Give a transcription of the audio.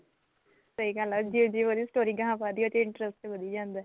ਸਹੀ ਗੱਲ ਐ ਜਿਵੇਂ ਜਿਵੇਂ ਉਹਦੀ story ਗਾਹ ਵੱਧਦੀ ਐ ਤੇ interest ਵੱਧੀ ਜਾਂਦਾ